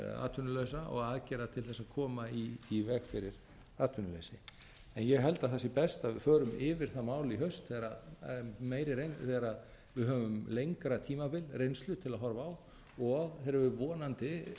atvinnulausa og aðgerða til að koma í veg fyrir atvinnuleysi en ég held að það sé best að við förum yfir það mál í haust þegar að höfum lengra tímabil reynslu til að horfa á og þegar við vonandi